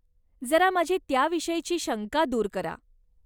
जरा माझी त्याविषयीची शंका दूर करा.